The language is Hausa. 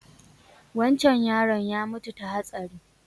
Wancan yaron ya mutu ta hatsari